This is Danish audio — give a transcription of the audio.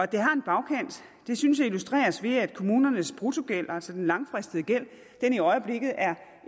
det har en bagkant synes jeg illustreres ved at kommunernes bruttogæld altså den langfristede gæld i øjeblikket er